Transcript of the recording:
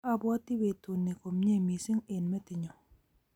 Abwoti betut ni komye mising eng metinyu